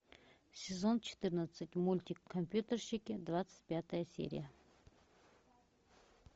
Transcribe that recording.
сезон четырнадцать мультик компьютерщики двадцать пятая серия